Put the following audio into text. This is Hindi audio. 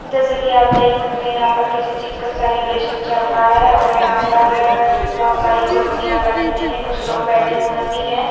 जैसे कि आप देख सकते हैं यहां पर किसी चीज का सेलिब्रेशन चल रहा है और यहां पर बहुत सारी कुर्सियां लगी हुई हैं कुछ लोग बैठे हुए भी हैं।